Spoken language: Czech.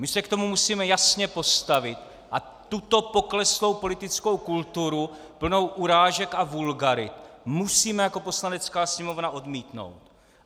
My se k tomu musíme jasně postavit a tuto pokleslou politickou kulturu plnou urážek a vulgarit musíme jako Poslanecká sněmovna odmítnout.